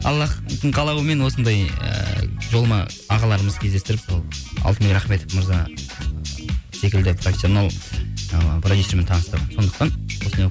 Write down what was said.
аллахтың қалауымен осындай ы жолыма ағаларымыз кездестіріп сол алтынбек рахметов мырза секілді професионал ы продюсермен таныстырды сондықтан осындай